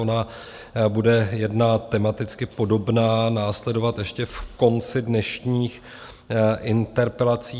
Ona bude jedna tematicky podobná následovat ještě v konci dnešních interpelací.